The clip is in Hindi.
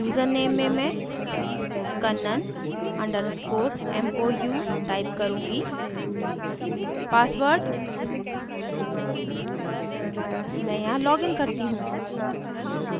यूज़रनेम में मैं kannan underscore mou type करुँगी password मैं यहाँ login करती mou